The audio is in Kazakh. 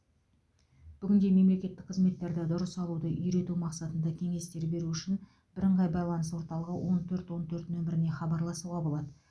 бүгінде мемлекеттік қызметтерді дұрыс алуды үйрету мақсатында кеңестер беру үшін бірыңғай байланыс орталығы он төрт он төрт номіріне хабарласуға болады